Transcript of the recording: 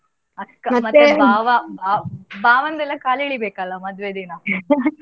ಅಕ್ಕ ಭಾವ, ಭಾವಂದೆಲ್ಲಾ ಕಾಲ್ ಎಳಿಬೇಕು ಅಲ್ಲಾ ಮದ್ವೆ ದಿನ.